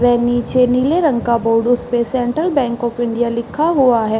वे नीचे नीले रंग का बोर्ड उसपे सेंट्रल बैंक ऑफ़ इंडिया लिखा हुआ है।